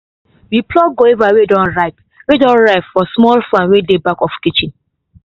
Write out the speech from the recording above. we pluck guavas wey don ripe wey don ripe for the small farm wey dey back of kitchen